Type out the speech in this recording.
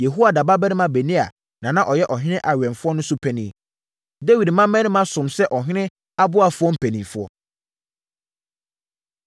Yehoiada babarima Benaia na na ɔyɛ ɔhene awɛmfoɔ no so panin. Dawid mmammarima somm sɛ ɔhene aboafoɔ mpanimfoɔ.